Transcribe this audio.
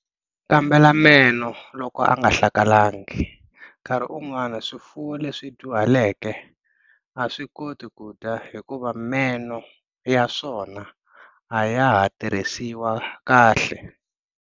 Kambela meno loko ya nga hlakalangi-nkarhi wun'wana swifuwo leswi dyuhaleke a swi koti ku dya hikuva meno ya swona a ya ha tirhisiwa kahle.